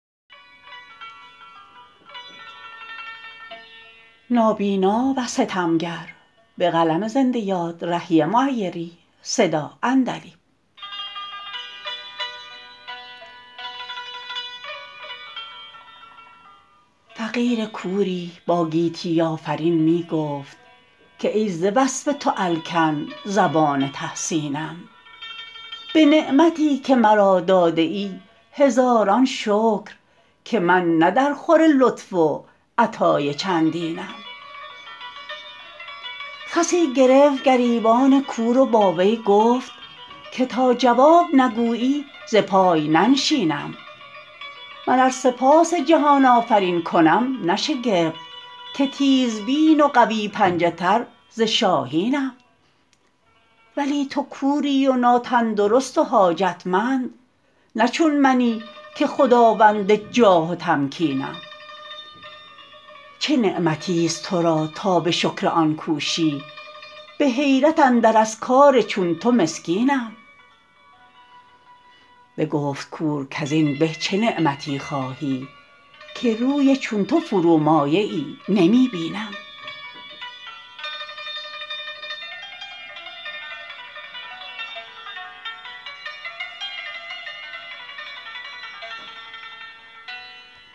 فقیر کوری با گیتی آفرین می گفت که ای ز وصف تو الکن زبان تحسینم به نعمتی که مرا داده ای هزاران شکر که من نه درخور لطف و عطای چندینم خسی گرفت گریبان کور و با وی گفت که تا جواب نگویی ز پای ننشینم من ار سپاس جهان آفرین کنم نه شگفت که تیزبین و قوی پنجه تر ز شاهینم ولی تو کوری و ناتندرست و حاجتمند نه چون منی که خداوند جاه و تمکینم چه نعمتی است ترا تا به شکر آن کوشی به حیرت اندر از کار چون تو مسکینم بگفت کور کزین به چه نعمتی خواهی که روی چون تو فرومایه ای نمی بینم